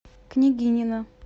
княгинино